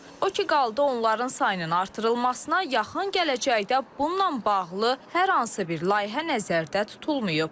O ki qaldı onların sayının artırılmasına, yaxın gələcəkdə bununla bağlı hər hansı bir layihə nəzərdə tutulmayıb.